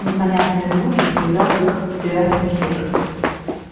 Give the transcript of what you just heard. непонятные звуки связав их в связный текст